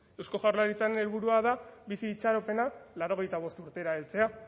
eusko jaurlaritzaren helburua da bizi itxaropena laurogeita bostera heltzea